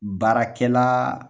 Baarakɛla